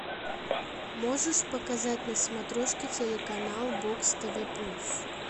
можешь показать на смотрешке телеканал бокс тв плюс